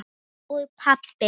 Og pabbi!